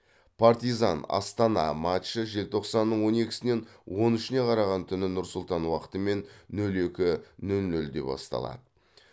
партизан астана матчы желтоқсанның он екісінен он үшіне қараған түні нұр сұлтан уақытымен нөл екі нөл нөлде басталады